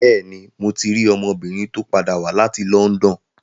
Bẹ́ẹ̀ni, mo ti rí ọmọbìnrin tó padà wá láti London.